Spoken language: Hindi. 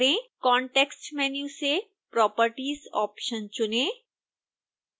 context menu से properties ऑप्शन चुनें